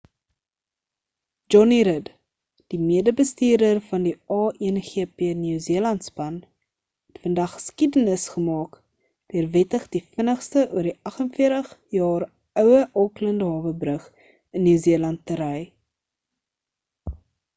jonny rid die mede bestuurder van die a1gp new zealand span het vandag geskiedenis gemaak deur wettig die vinnigste oor die 48 jaar oue auckland hawe brug in new zealand te ry